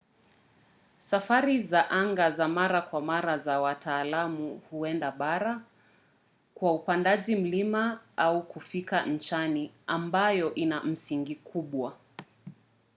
safari za anga za mara kwa mara za wataalam huenda bara kwa upandaji milima au kufikia nchani ambayo ina msingi mkubwa